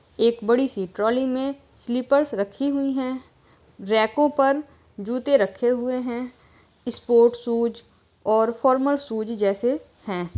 एक बड़ी सी ट्रौली में स्लीपर्स रखी हुई हैं। रैको पर जूते रखे हुए हैं। स्पोर्ट शूज और फॉर्मल शूज जैसे हैं।